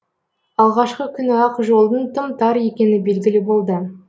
алғашқы күні ақ жолдың тым тар екені белгілі болды